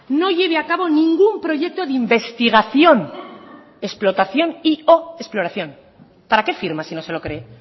no lleve a cabo ningún proyecto de investigación explotación y o exploración para qué firma si no se lo cree